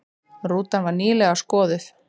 Rútan var nýlega skoðuð